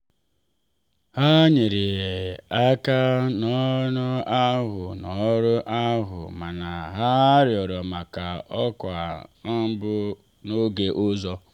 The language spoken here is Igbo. ha nyere aka n'ọrụ ahụ n'ọrụ ahụ mana ha rịọrọ maka ọkwa mbụ n'oge ọzọ.